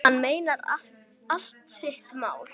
Hann meinar allt sitt mál.